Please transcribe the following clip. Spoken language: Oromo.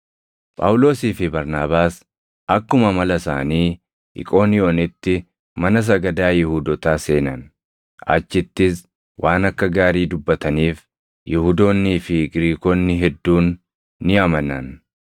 Phaawulosii fi Barnaabaas akkuma amala isaanii Iqooniyoonitti mana sagadaa Yihuudootaa seenan; achittis waan akka gaarii dubbataniif Yihuudoonnii fi Giriikonni hedduun ni amanan.